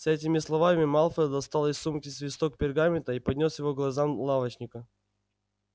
с этими словами малфой достал из сумки свиток пергамента и поднёс его к глазам лавочника